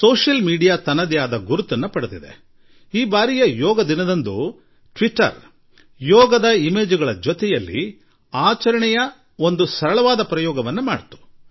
ಸಾಮಾಜಿಕ ತಾಣಗಳು ತನ್ನ ಅಸ್ತಿತ್ವವನ್ನು ಕಂಡುಕೊಂಡುಬಿಟ್ಟಿವೆ ಹಾಗೂ ಈ ಬಾರಿ ಯೋಗದಿನದಂದು ಟ್ವೀಟರ್ ಯೋಗ ದೃಶ್ಯಗಳೊಂದಿಗೆ ಸಂಭ್ರಮದ ಸಣ್ಣಪುಟ್ಟ ಪ್ರಯೋಗಗಳನ್ನೂ ಮಾಡಿತು